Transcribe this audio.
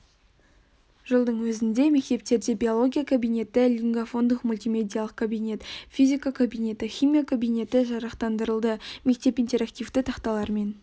жылдың өзінде мектептерде биология кабинеті лингафондық мультимедиалық кабинет физика кабинеті химия кабинеті жарақтандырылды мектеп интерактивті тақталармен